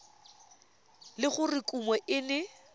le gore kumo e ne